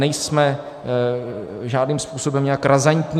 Nejsme žádným způsobem nějak razantní.